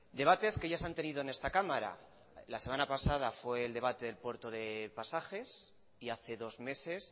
debates que ya se han tenido en esta cámara la semana pasada fue el debate del puerto de pasajes y hace dos meses